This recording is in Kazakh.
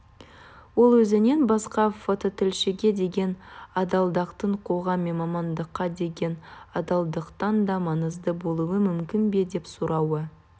ол өзінен басқа фототілшіге деген адалдықтың қоғам мен мамандыққа деген адалдықтан да маңызды болуы мүмкін бе деп сұрауы